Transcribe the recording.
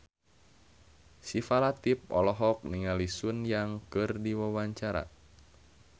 Syifa Latief olohok ningali Sun Yang keur diwawancara